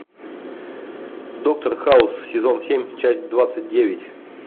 доктор хаус сезон семь часть двадцать девять